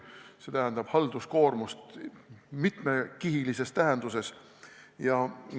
See tähendab mitmekihilist halduskoormust.